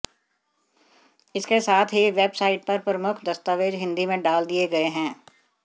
इसके साथ ही वेबसाइट पर प्रमुख दस्तावेज हिंदी में डाल दिए गए हैं